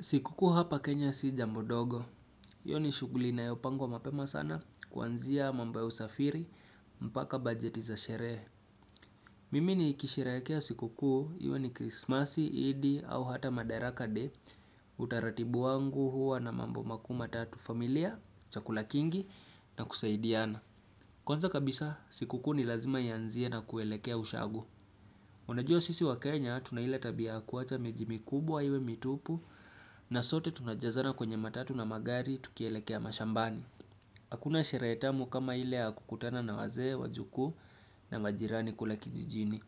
Sikukuu hapa Kenya si jambo dogo, hiyo ni shuguli inayopangwa mapema sana kuanzia mambo ya usafiri, mpaka bajeti za sherehe. Mimi nikisheherekea sikukuu, iwe ni krisimasi, idi au hata madarakade, utaratibu wangu huwa na mambo makuu matatu familia, chakula kingi na kusaidiana. Kwanza kabisa, siku kuu ni lazima ianzie na kuelekea ushago. Unajua sisi wakenya tuna ile tabia ya kuwacha miji mikubwa iwe mitupu na sote tunajazana kwenye matatu na magari tukielekea mashambani. Hakuna sherehe tamu kama ile ya kukutana na wazee, wajukuu na majirani kule kijijini.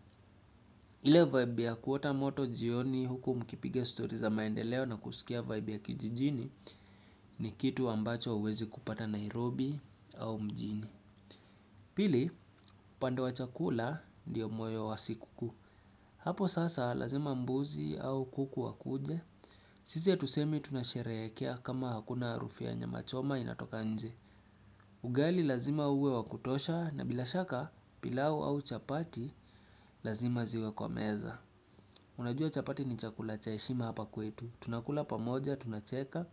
Ile vibe ya kuota moto jioni huku mkipiga story za maendeleo na kusikia vibe ya kijijini ni kitu ambacho huwezi kupata Nairobi au mjini. Pili, pande wa chakula ndiyo moyo wa siku kuu. Hapo sasa lazima mbuzi au kuku wakuje. Sisi hatusemi tunasherehekea kama hakuna harufui ya nyamachoma inatoka nje. Ugali lazima uwe wa kutosha na bila shaka pilau au chapati lazima ziwe kwa meza. Unajua chapati ni chakula cha heshima hapa kwetu. Tunakula pamoja, tunacheka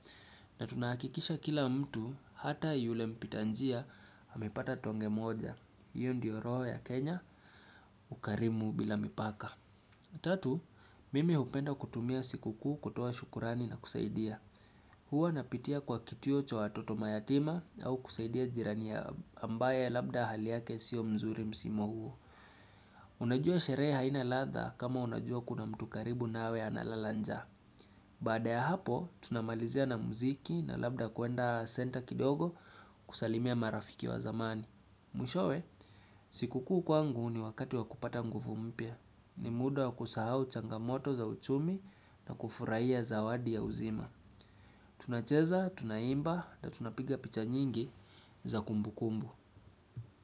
na tunahakikisha kila mtu hata yule mpita njia amepata tonge moja. Hiyo ndiyo roho ya Kenya, ukarimu bila mipaka. Tatu, mimi hupenda kutumia siku kuu kutoa shukurani na kusaidia. Huwa napitia kwa kituo cha watoto mayatima au kusaidia jirani ambaye labda hali yake sio mzuri msimu huo. Unajua sherehe haina ladha kama unajua kuna mtu karibu nawe analala njaa. Baada ya hapo, tunamalizia na muziki na labda kuenda center kidogo kusalimia marafiki wa zamani. Mwishowe, siku kuu kwangu ni wakati wa kupata nguvu mpya. Ni muda wa kusahau changamoto za uchumi na kufurahiya zawadi ya uzima tunacheza, tunaimba na tunapiga picha nyingi za kumbukumbu.